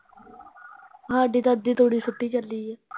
ਸਾਡੀ ਤਾਂ ਤੂੜੀ ਸੁੱਟੀ ਚੱਲੀ ਏ